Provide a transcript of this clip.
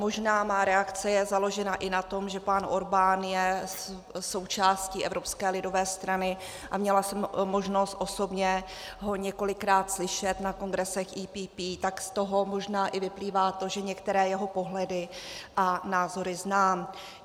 Možná má reakce je založena i na tom, že pan Orbán je součástí Evropské lidové strany a měla jsem možnost osobně ho několikrát slyšet na kongresech EPP, tak z toho možná i vyplývá to, že některé jeho pohledy a názory znám.